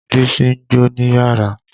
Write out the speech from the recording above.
Bísí ń jó níyàrá.